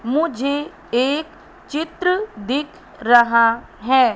मुझे एक चित्र दिख रहा है।